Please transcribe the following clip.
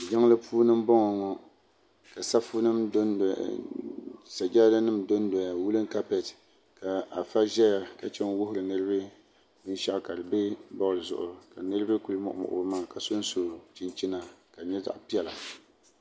jinli puuni n boŋɔ ŋɔ saƒunim n dodoya ŋɔ sajara nim dodoya wudin kapɛtɛ ka aƒu ʒɛya ka chɛn n wuhiri niriba bi shɛgu ka di pɛ boodi zuɣ' niriba be kulimuɣimuɣi be maŋa ʒɛn ʒɛya ka sun so chichina ka di nyɛ zaɣ' pɛla